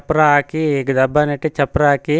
ಚಪ್ರ ಹಾಕಿ ದಬ್ಬ ನೆಟ್ಟಿ ಚಪ್ರ ಹಾಕಿ.